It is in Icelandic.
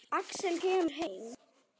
Axel kemur heim.